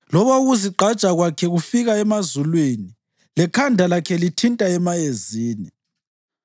Loba ukuzigqaja kwakhe kufika emazulwini lekhanda lakhe lithinta emayezini,